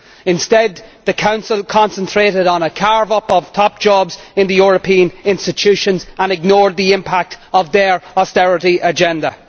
Instead, the Council concentrated on a carve up of top jobs in the European institutions and ignored the impact of their austerity agenda.